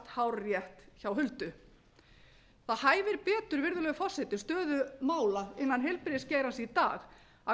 hárrétt hjá huldu það hæfir betur virðulegi forseti um stöðu mála innan heilbrigðisgeirans í dag að